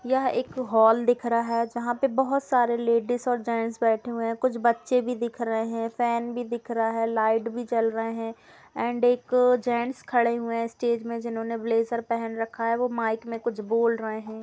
यह एक हॉल दिख रहा है जहां पे बहुत सारे लेडिज और जेंट्स बैठे हुए है कुछ बच्चे भी दिख रहे है फेन भी दिख रहा है लाइट भी जल रहे है एंड एक जेंट्स खड़े हुए है स्टेज में जिन्होंने ब्लेजर पहन रखा है वो माइक में कुछ बोल रहे है।